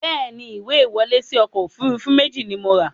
Bẹ́ẹ̀ni, ìwé ìwọlé síí ọkọ̀ Òfurufú méjì ni mo ra